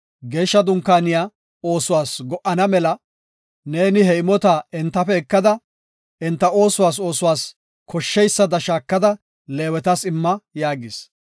“Geeshsha Dunkaaniya oosuwas go77ana mela neeni he imota entafe ekada, enta oosuwas oosuwas koshsheysada shaakada Leewetas imma” yaagis.